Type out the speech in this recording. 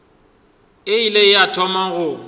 e ile ya thoma go